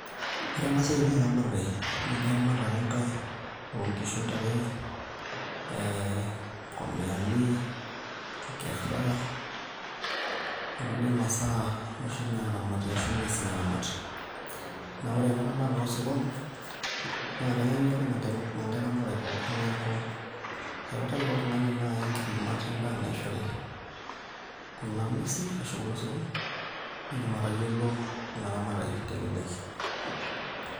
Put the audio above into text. Ore ena siai naa ermatare nijo eramatera ake nkai oo nkishu ntare ee inkomiani nkera okulie masaa oshi naaramati ashu nguesin naaramati, naa ore ena ramatare oosirkon naa kenyanyukie ake ina nkae ramatare pookin neeku kautaki ake oltung'ani naai nkipimat endaa naishori kuna nguesi ashu kulo sirkon nitum atayiolo ina ramatare teleleki.